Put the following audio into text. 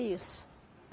Isso.